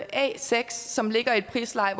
a6 som ligger i et prisleje